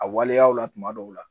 A waleyaw la tuma dɔw la